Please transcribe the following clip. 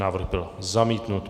Návrh byl zamítnut.